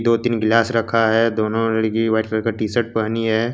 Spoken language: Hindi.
दो तीन ग्लास रखा है दोनों लड़की व्हाइट कलर का टी शर्ट पहनी है।